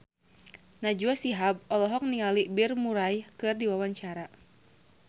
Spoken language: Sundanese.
Najwa Shihab olohok ningali Bill Murray keur diwawancara